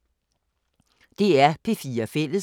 DR P4 Fælles